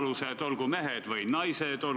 Suvel oli igavene jama, vahel sai, vahel ei saanud.